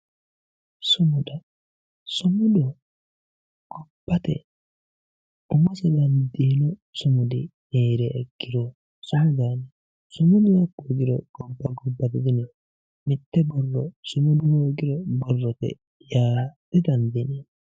Sumuda sumudu gobbate umose dandiino sumudi heeriha ikkiro danchaho sumudu hakku hoogiro gobba gobbate diyineemmo mitte borro sumudu hoogiro borrote yaa didandiineemmo